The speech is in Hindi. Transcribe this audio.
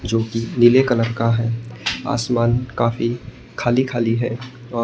जो कि नीले कलर का है आसमान काफी खाली-खाली है और --